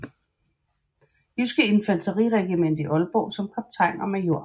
Jyske Infanteriregiment i Aalborg som kaptajn og major